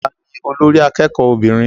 Ta ni olórí akẹ́kọ̀ọ́ obìnrin?